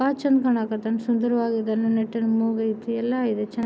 ಬಾಳ್ ಚಂದ್ ಕಾಣ ಕಥತೆ ಸುಂದರವಾಗಿ ಇದನ್ನ ನೆಟ್ಟಿನ ಮೂಗು ಐತೆ ಎಲ್ಲ ಇದೆ ಚೆನ್--